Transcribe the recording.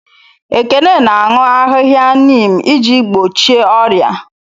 Ekene na-aṅụ ahịhịa neem iji gbochie ọrịa.